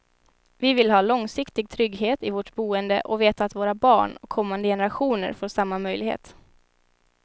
Vi vill ha långsiktig trygghet i vårt boende och veta att våra barn och kommande generationer får samma möjlighet.